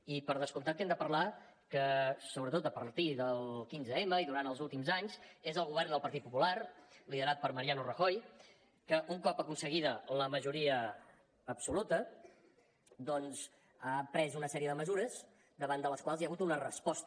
i per descomptat que hem de parlar que sobretot a partir del quinze m i durant els últims anys és el govern del partit popular liderat per mariano rajoy que un cop aconseguida la majoria absoluta doncs ha pres una sèrie de mesures davant de les quals hi ha hagut una resposta